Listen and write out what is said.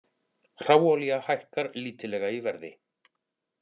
Hráolía hækkar lítillega í verði